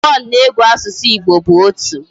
One na ego asusu Igbo bu otu